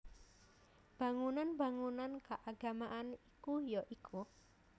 Bangunan bangunan keagamaan iku ya iku